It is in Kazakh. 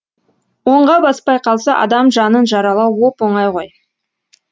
оңға баспай қалса адам жанын жаралау оп оңай ғой